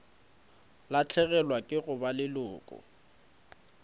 lahlegelwa ke go ba leloko